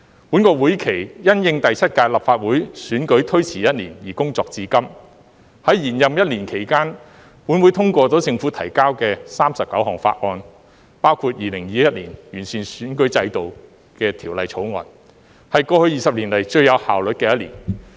本會期因應第七屆立法會選舉推遲一年而工作至今，在延任一年期間，立法會通過了政府提交的39項法案，包括《2021年完善選舉制度條例草案》，是過去20年以來最有效率的1年。